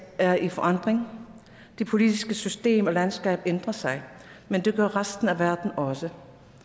er i forandring det politiske system og landskab ændrer sig men det gør resten af verden også